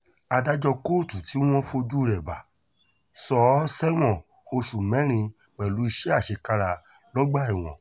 adájọ́ kóòtù tí wọ́n fojú rẹ̀ bá sọ ọ́ sẹ́wọ̀n oṣù mẹ́rin pẹ̀lú iṣẹ́ àṣekára lọ́gbà ẹ̀wọ̀n